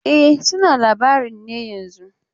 E, suna labarin ne yanzun.